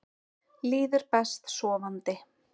Líður best sofandi.